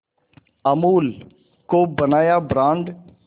अमूल को बनाया ब्रांड